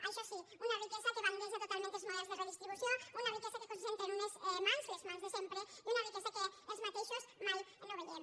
això sí una riquesa que bandeja totalment els models de redistribució una riquesa que es concentra en unes mans les mans de sempre i una riquesa que els mateixos mai no veiem